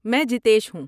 میں جیتیش ہوں۔